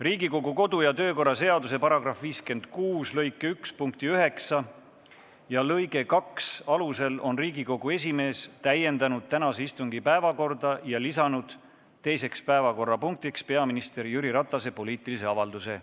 Riigikogu kodu- ja töökorra seaduse § 56 lõike 1 punkti 9 ja lõike 2 alusel on Riigikogu esimees täiendanud tänase istungi päevakorda ja lisanud teiseks päevakorrapunktiks peaminister Jüri Ratase poliitilise avalduse.